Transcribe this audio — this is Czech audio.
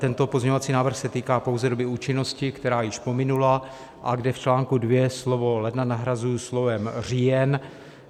Tento pozměňovací návrh se týká pouze doby účinnosti, která již pominula a kde v článku 2 slovo "ledna" nahrazuji slovem "října".